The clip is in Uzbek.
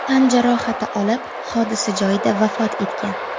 tan jarohati olib, hodisa joyida vafot etgan.